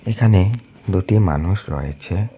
এখানে দুটি মানুষ রয়েছে।